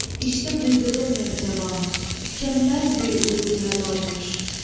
İşte qıydığım nev cavan, tükənməz bir uyğuya dalmış.